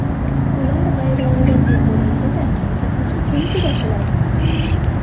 Ular g‘ayriodatiy ko‘rinsa-da, taqish uchun juda qulay.